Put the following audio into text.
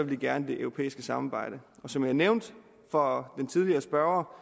de gerne det europæiske samarbejde som jeg nævnte for den tidligere spørger